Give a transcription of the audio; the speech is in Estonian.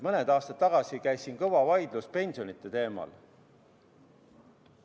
Mõned aastad tagasi käis siin kõva vaidlus pensionide teemal.